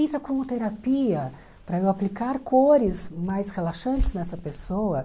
Entra como terapia para eu aplicar cores mais relaxantes nessa pessoa.